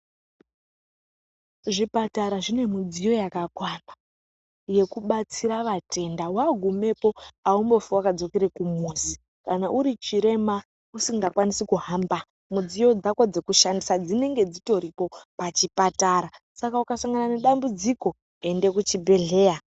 Zvipatara zvinekodzero yakakwana yekubatsira vatenda wagumepo aumbofi wakadzokere kumuzi kana uri chirema usingakwanisi kuhamba mudziyo dzako dzekushandisa dzinenge dzitoripo pachipatara saka ukasangane nedambudziko ende kuchibhedhleya.